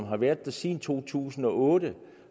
har været der siden to tusind og otte og